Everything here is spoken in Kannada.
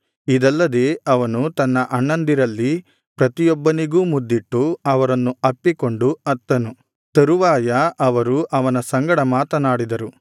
ಇದಲ್ಲದೆ ಅವನು ತನ್ನ ಅಣ್ಣಂದಿರಲ್ಲಿ ಪ್ರತಿಯೊಬ್ಬನಿಗೂ ಮುದ್ದಿಟ್ಟು ಅವರನ್ನು ಅಪ್ಪಿಕೊಂಡು ಅತ್ತನು ತರುವಾಯ ಅವರು ಅವನ ಸಂಗಡ ಮಾತನಾಡಿದರು